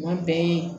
Kuma bɛɛ